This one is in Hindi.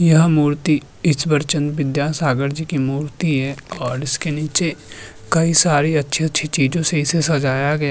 यह मूर्ति इस वरचन विद्या सागर जी की मूर्ति है और इसके निचे कई सारे अछि-अछि चीजों से इसे सजाया गया --